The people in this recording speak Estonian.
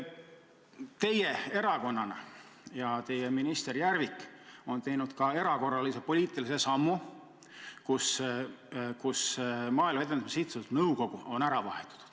Teie erakonda kuuluv minister Järvik on aga teinud erakorralise poliitilise sammu, muutes Maaelu Edendamise Sihtasutuse nõukogu koosseisu.